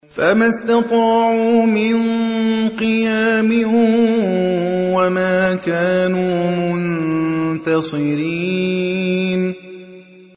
فَمَا اسْتَطَاعُوا مِن قِيَامٍ وَمَا كَانُوا مُنتَصِرِينَ